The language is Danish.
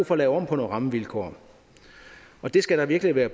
for at lave om på nogle rammevilkår og det skal der virkelig være